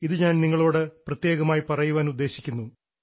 ഇത് ഞാൻ നിങ്ങളോട് പ്രത്യേകമായി പറയാൻ ഉദ്ദേശിക്കുന്നു